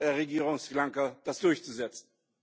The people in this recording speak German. der Regierung von Sri Lanka durchzusetzen.